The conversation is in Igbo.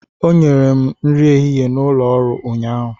O nyere m nri ehihie n'ụlọ ọrụ ụnyahụ.